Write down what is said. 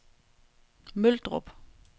Møldrup